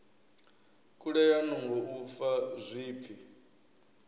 kulea nungo u fa zwipfi